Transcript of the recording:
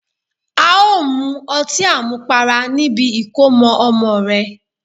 A o mu ọti àmupara nibi ìkómọ ọmọ rẹ